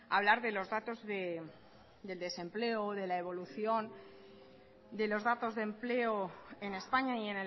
a hablar de los datos del desempleo de la evolución de los datos de empleo en españa y